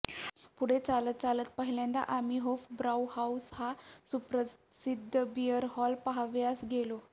पुढे चालत चालत पहिल्यांदा आम्ही होफब्राउहाउस हा सुप्रसिद्ध बिअर हॉल पाहावयास गेलो